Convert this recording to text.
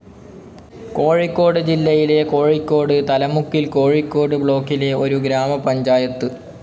കോഴിക്കോട് ജില്ലയിലെ കോഴിക്കോട് തലമുക്കിൽ കോഴിക്കോട് ബ്ലോക്കിലെ ഒരു ഗ്രാമപഞ്ചായത്.